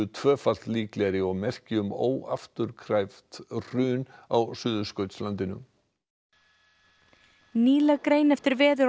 tvöfalt líklegri og merki um óafturkræft hrun á Suðurskautslandinu nýleg grein eftir veður